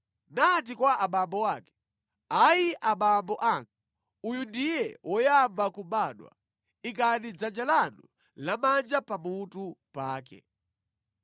nati kwa abambo ake, “Ayi, abambo anga, uyu ndiye woyamba kubadwa, ikani dzanja lanu lamanja pamutu pake.”